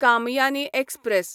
Kamayani express